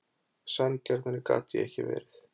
Sanngjarnari get ég ekki verið.